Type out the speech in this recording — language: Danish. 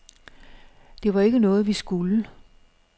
Det var jo ikke noget, vi skulle.